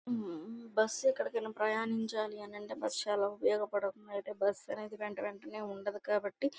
ఈ బస్సు ఎక్కడికైనా ప్రయాణించలంటే బస్సు చాల ఉపయోగ ఉన్నట్టయితే బుస్స్ అనేది వెంట వెంటనే ఉండదు కాబట్టి --